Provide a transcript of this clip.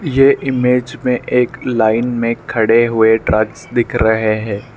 ये इमेज मे एक लाइन मे खड़े हुए ट्रक्स दिख रहे है।